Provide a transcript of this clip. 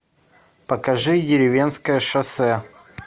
покажи деревенское шоссе